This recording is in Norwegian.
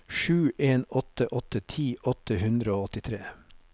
sju en åtte åtte ti åtte hundre og åttitre